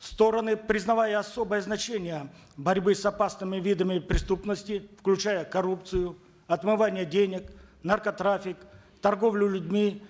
стороны признавая особое значение борьбы с опасными видами преступности включая коррупцию отмывание денег наркотрафик торговлю людьми